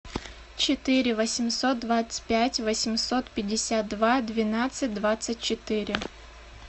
четыре восемьсот двадцать пять восемьсот пятьдесят два двенадцать двадцать четыре